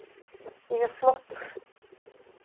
Ég er flottur.